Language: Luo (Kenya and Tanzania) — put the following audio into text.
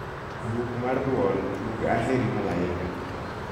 buk mar duol tug aheri malaika